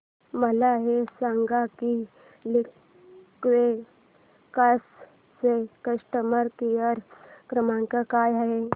मला हे सांग की लिंकवे कार्स चा कस्टमर केअर क्रमांक काय आहे